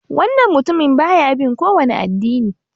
Wannan mutumin baya bin kowani addini.